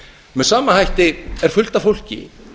með sama hætti er fullt af fólki